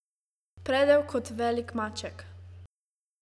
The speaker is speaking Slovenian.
Predel kot velik maček.